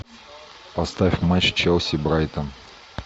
поставь матч челси брайтон